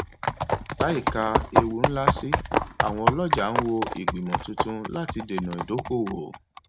láìka ewu ńlá sí àwọn ọlọjà ń wo ìgbìmọ tuntun láti dènà ìdókòwò